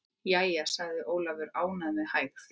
Jæja, sagði Ólafur með hægð.